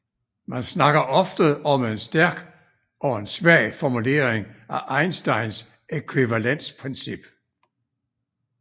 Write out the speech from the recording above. Man snakker ofte om en stærk og en svag formulering af Einsteins ækvivalensprincip